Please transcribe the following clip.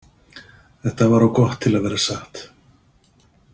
Þetta var of gott til að vera satt!